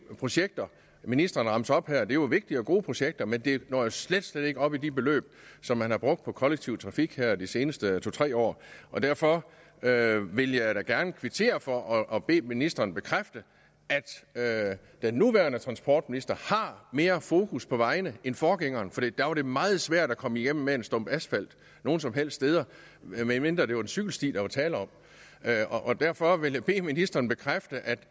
projekter ministeren remser op her er jo vigtige og gode projekter men de når slet slet ikke op i de beløb som man har brugt på kollektiv trafik her de seneste to tre år derfor vil jeg vil jeg da gerne kvittere for og bede ministeren bekræfte at den nuværende transportminister har mere fokus på vejene end forgængeren for der var det meget svært at komme igennem med en stump asfalt nogen som helst steder medmindre det var en cykelsti der var tale om derfor vil jeg bede ministeren bekræfte